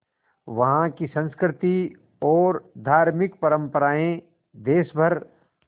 वहाँ की संस्कृति और धार्मिक परम्पराएं देश भर